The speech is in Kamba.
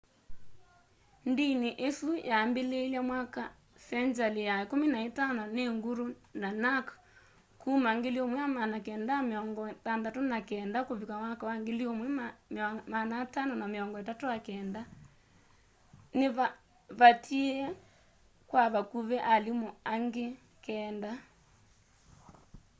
ndini isu yambiliiilw'e mwakani senjali ya 15 ni guru nanak kuma 1469-1539 ni vaatiie kwa vakuvi alimu angi keenda